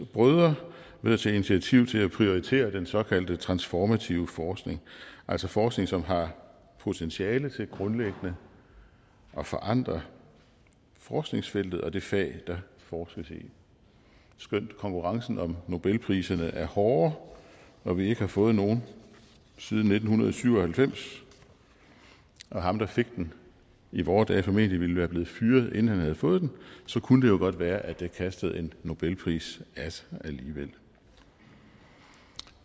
brødre ved at tage initiativ til at prioritere den såkaldte transformative forskning altså forskning som har potentiale til grundlæggende at forandre forskningsfeltet og det fag der forskes i skønt konkurrencen om nobelpriserne er hård og vi ikke har fået nogen siden nitten syv og halvfems og ham der fik den i vore dage formentlig ville være blevet fyret inden han havde fået den så kunne det jo godt være at det kastede en nobelpris af sig alligevel